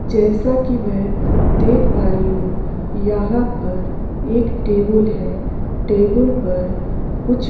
जैसा कि मैं देख पा रही हूं यहाँ पर एक टेबुल है टेबुल पर कुछ --